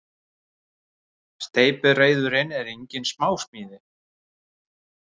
Steypireyðurin er engin smásmíði.